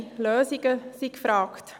Konkrete Lösungen sind gefragt.